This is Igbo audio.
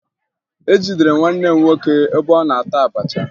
Ejidere m nwanne m nwoke ebe ọ na-ata abacha